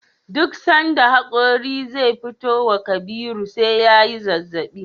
Duk sanda hakori ze fitowa Kabir SE yayi zazzabi